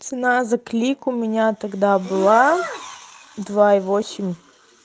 цена за клик у меня тогда была два и восемь